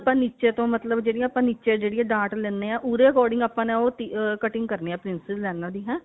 ਆਪਾਂ ਨੀਚੇ ਤੋਂ ਮਤਲਬ ਜਿਹੜੀ ਆਪਾਂ ਨੀਚੇ ਜਿਹੜੀਆਂ ਡਾਟ ਲੈਣੇ ਆ ਉਹਦੇ according ਆਪਾਂ ਨੇ ਉਹ ah cutting ਕਰਨੀ ਆ princess ਲਾਈਨਾ ਦੀ ਹੈਂ